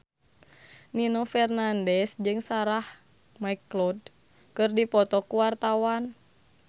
Nino Fernandez jeung Sarah McLeod keur dipoto ku wartawan